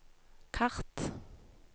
kart